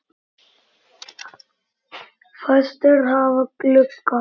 Fæstir hafa glugga.